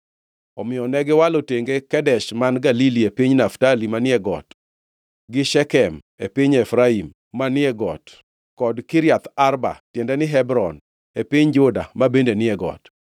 Omiyo negiwalo tenge Kedesh man Galili e piny Naftali manie got, gi Shekem e piny Efraim manie got kod Kiriath Arba (tiende ni, Hebron), e piny Juda ma bende ni e got.